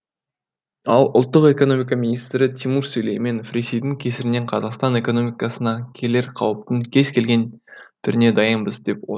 ал ұлттық экономика министрі тимур сүлейменов ресейдің кесірінен қазақстан экономикасына келер қауіптің кез келген түріне дайынбыз деп отыр